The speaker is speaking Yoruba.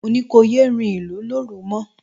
Mo ní kò yé rìnlú lóru mọ